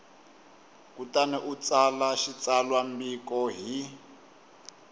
kutani u tsala xitsalwambiko hi